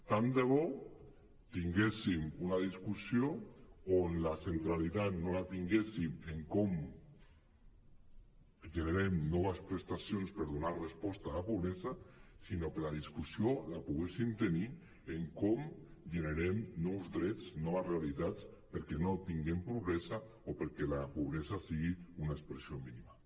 tant de bo tinguéssim una discussió on la centralitat no la tinguéssim en com generem noves prestacions per donar resposta a la pobresa sinó que la discussió la poguéssim tenir en com generem nous drets noves realitats perquè no tinguem pobresa o perquè la pobresa sigui una expressió mínima